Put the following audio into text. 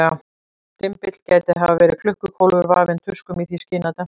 Dymbill gæti hafa verið klukkukólfur, vafinn tuskum í því skyni að dempa hljóminn.